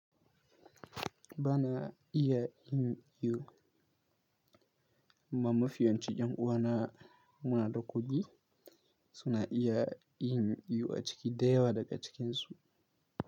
Bana iyayin iyo, amma mafi yawancin ƴan uwa na muna da kuɗi suna iya yin iyo a ciki da yawa daga cikinsu.